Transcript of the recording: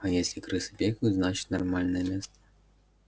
а если крысы бегают значит нормальное место